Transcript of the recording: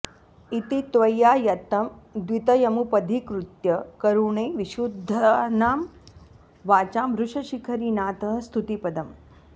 इति त्वय्यायत्तं द्वितयमुपधीकृत्य करुणे विशुद्धानां वाचां वृषशिखरिनाथः स्तुतिपदम्